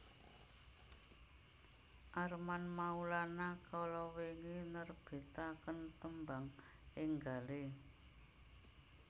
Armand Maulana kalawingi nerbitaken tembang enggale